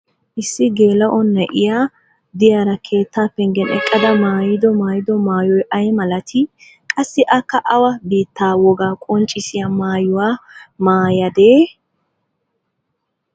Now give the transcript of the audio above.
issi geela'o na'iya diyaara keettaa pengen eqqada maayido maayido maayoy ay malatii? qassi akka awa biitaa wogaa qonccissiya maayuwa maayadee?